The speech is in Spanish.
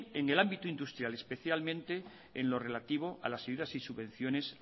en el ámbito industrial especialmente en lo relativos a las ayudas y subvenciones